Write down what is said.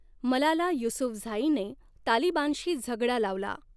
मलाला युसूफझाईने तालिबानशी झगडा लावला.